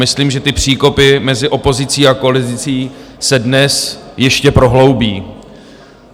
Myslím, že ty příkopy mezi opozicí a koalicí se dnes ještě prohloubí.